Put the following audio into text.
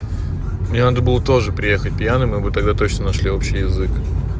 мне надо было тоже приехать пьяным и мы бы тогда точно нашли общий язык